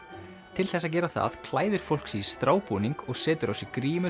til þess að gera það klæðir fólk sig í strábúning og setur á sig